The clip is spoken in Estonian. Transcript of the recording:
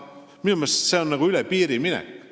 Minu meelest on see üle piiri minek.